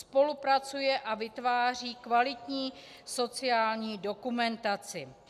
Spolupracuje a vytváří kvalitní sociální dokumentaci.